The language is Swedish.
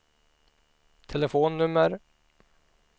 telefonnummer